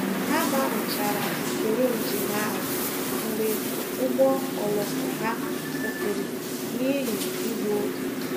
Ha gbanwechara usoro njem ahụ mgbe ụgbọ oloko ha kwụsịrị n'ihi igbu oge.